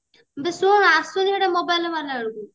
ଯେ ଶୁଣୁ ଆଶୁନି ହେଇଟା mobile ରେ ମାରିଲା ବେଳକୁ